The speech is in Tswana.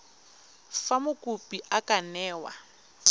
fa mokopi a ka newa